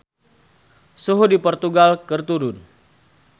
Suhu di Portugal keur turun